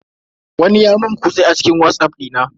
Wani ya mun kutse a cikin watsaff dina.